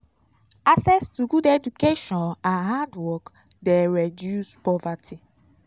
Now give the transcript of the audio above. access to good education and hard work de reduce poverty